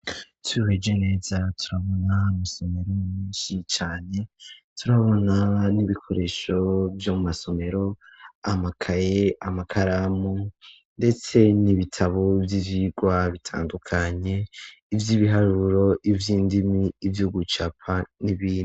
Twihweje neza turabona amasomero menshi cane turabona n'ibikoresho vyomu mumasomero amakaye amakaramu ndetse n'ibitabo vy'ivyigwa bitandukanye ivy'ibiharuro ivy'indimi nivyo gucapa n'ibindi.